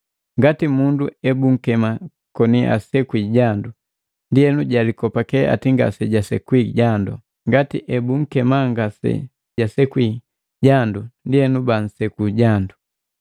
Ngati mundu ebukema koni asekwi jandu, ndienu jalikopake eti ngasejasekwi jandu, ngati ebunkema ngasejabii busekwi jandu, ndienu banseku jandu.